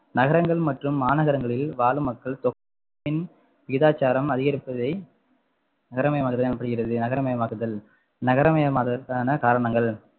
நகரங்கள் மற்றும் மாநகரங்களில் வாழும் மக்கள் தொகையின் விகிதாச்சாரம் அதிகரிப்பதை நகரமயமாதல் எனப்படுகிறது நகரமயமாகுதல் நகரமயமாதலுக்கான காரணங்கள்